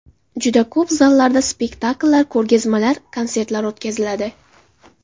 Juda ko‘p zallarda spektakllar, ko‘rgazmalar, konsertlar o‘tkaziladi.